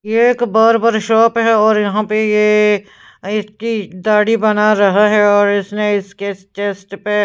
ये एक barber shop है और यहां पे ये इसकी दाढ़ी बना रहा है और इसने इसके चेस्ट पे--